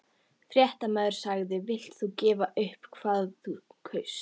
Fréttamaður: Villt þú gefa upp hvað þú kaust?